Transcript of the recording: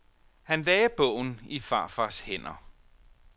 Han lagde bogen i farfars hænder.